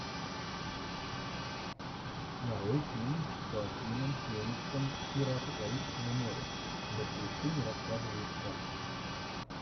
нарой фильм с хоакином фениксом пираты карибского моря мертвецы не рассказывают сказки